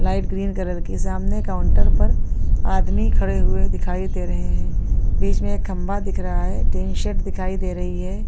Light green colour की सामने counter पर आदमी खड़े हुए दिखाई दे रहे हैं बीच में एक खंबा दिख रहा है टीन शेड दिखाई दे रही है।